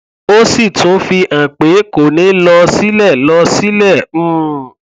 ó sì tún fi hàn pé kò ní lọ sílẹ lọ sílẹ um